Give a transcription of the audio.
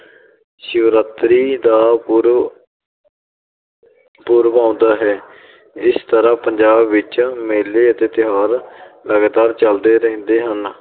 ਸ਼ਿਵਰਾਤਰੀ ਦਾ ਪੁਰਬ ਪੁਰਬ ਆਉਂਦਾ ਹੈ ਇਸ ਤਰ੍ਹਾਂ ਪੰਜਾਬ ਵਿੱਚ ਮੇਲੇ ਅਤੇ ਤਿਉਹਾਰ ਲਗਾਤਾਰ ਚੱਲਦੇ ਰਹਿੰਦੇ ਹਨ।